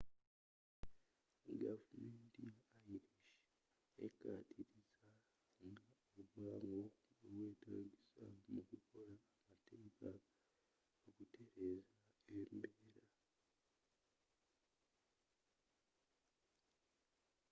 gavumenti ya irish ekkaatiriza nga obwangu bwe bwetaagisa mu kukola amateeka okutereza embeera